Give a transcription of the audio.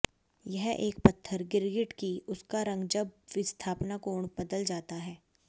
यह एक पत्थर गिरगिट कि उसका रंग जब विस्थापन कोण बदल जाता है